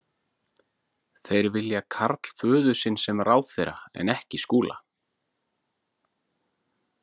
Þeir vilja karl föður sinn sem ráðherra en ekki Skúla.